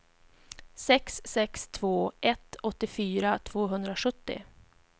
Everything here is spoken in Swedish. sex sex två ett åttiofyra tvåhundrasjuttio